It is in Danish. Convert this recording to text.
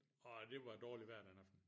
Og det var dårlig vejr den aften